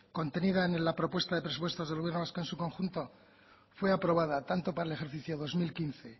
contenida en la propuesta de presupuestos del gobierno vasco en su conjunto fue aprobada tanto para el ejercicio dos mil quince